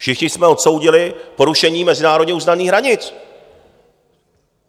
Všichni jsme odsoudili porušení mezinárodně uznaných hranit.